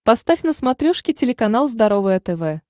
поставь на смотрешке телеканал здоровое тв